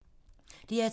DR2